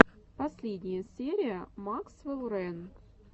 последняя серия максвелл рэн